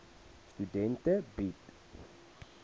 studente bied